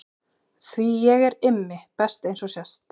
Því ég er Immi best eins og sést.